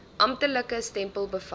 amptelike stempel bevat